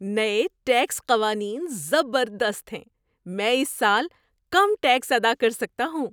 نئے ٹیکس قوانین زبردست ہیں! میں اس سال کم ٹیکس ادا کر سکتا ہوں!